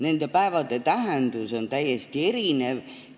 Nende päevade tähendus on täiesti erinev.